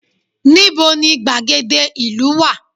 Ní bo ni gbàgede ìlú wà